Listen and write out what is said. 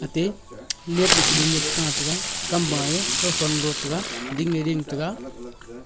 ate labpe kununu chitaataga kamwa ye kauthon galo taga dingye ding taga.